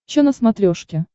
че на смотрешке